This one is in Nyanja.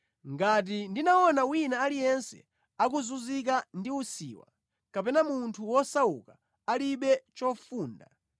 ngati ndinaona wina aliyense akuzunzika ndi usiwa, kapena munthu wosauka alibe chofunda,